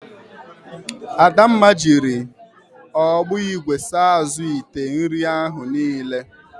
Adamma jiri ọgbọ igwe saa azụ ite nri ahụ niile.